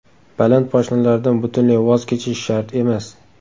Baland poshnalardan butunlay voz kechish shart emas.